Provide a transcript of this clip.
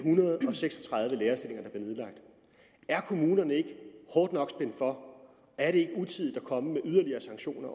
seks og tredive lærerstillinger er kommunerne ikke hårdt nok spændt for er det ikke utidigt at komme med yderligere sanktioner